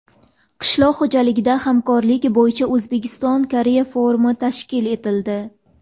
Qishloq xo‘jaligida hamkorlik bo‘yicha O‘zbekiston Koreya forumi tashkil etildi.